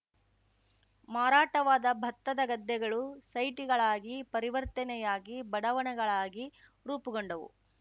ಮಾರಾಟವಾದ ಭತ್ತದ ಗದ್ದೆಗಳು ಸೈಟ್‌ಗಳಾಗಿ ಪರಿವರ್ತನೆಯಾಗಿ ಬಡಾವಣೆಗಳಾಗಿ ರೂಪುಗೊಂಡವು